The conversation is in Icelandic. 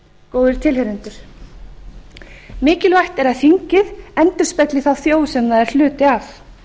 góðir tilheyrendur mikilvægt er að þingið endurspegli þá þjóð sem það er hluti af